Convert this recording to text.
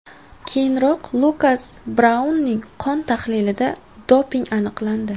Keyinroq Lukas Braunning qon tahlilida doping aniqlandi .